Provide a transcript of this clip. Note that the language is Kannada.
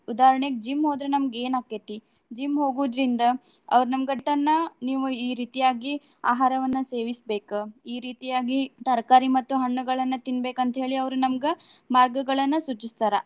ಉದಾಹರ್ಣೆಗೆ gym ಹೋದ್ರ ನಮ್ಗ ಏನ್ ಆಕ್ಕೇತಿ. gym ಹೋಗುದ್ರಿಂದ ಅವ್ರ ನಮ್ಗಂಟನ ನೀವ್ ಈ ರೀತಿಯಾಗಿ ಆಹಾರವನ್ನ ಸೇವಿಸಬೇಕ್. ಈ ರೀತಿಯಾಗಿ ತರ್ಕಾರಿ ಮತ್ತು ಹಣ್ಣುಗಳನ್ನ ತಿನ್ನಬೇಕ್ ಅಂತ ಹೇಳಿ ಅವ್ರು ನಮ್ಗ ಮಾರ್ಗಗಳನ್ನ ಸೂಚಿಸ್ತಾರ.